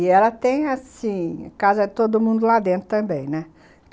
E ela tem, assim, casa de todo mundo lá dentro também, né?